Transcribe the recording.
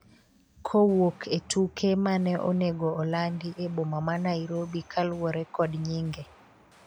kowuok e tuke mane onego olandi e boma ma Nairobi kaluwore kod nyinge